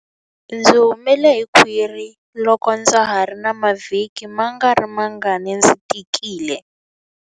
Ndzi humele hi khwiri loko ndza ha ri na mavhiki mangarimangani ndzi tikile.